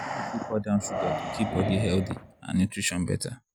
people fit cut down sugar to keep body healthy and nutrition better.